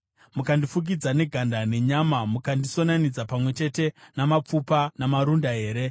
mukandifukidza neganda nenyama mukandisonanidza pamwe chete namapfupa namarunda here?